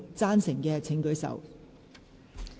贊成的請舉手。